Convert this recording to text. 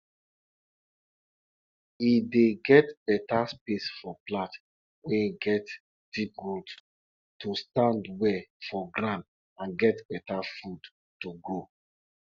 na becos of people wey dey sell cheese for market an em make people dey come our town for wednesday morning